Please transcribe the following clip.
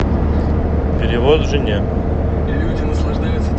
перевод жене